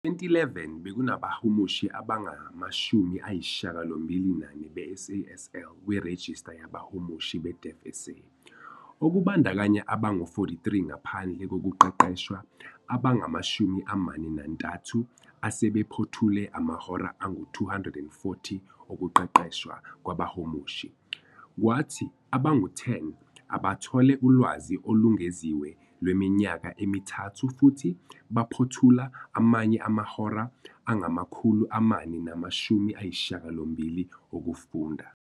Ngo-2011, bekunabahumushi abangama-84 be-SASL kwirejista yabahumushi be-DeafSA, okubandakanya abangu-43 ngaphandle kokuqeqeshwa, abangama-31 asebephothule amahora angu-240 okuqeqeshwa kwabahumushi, kwathi abangu-10 abathole ulwazi olungeziwe lweminyaka emithathu futhi baphothula amanye amahora angama-480 okufunda.